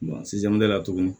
sisan mɛbɛ la tuguni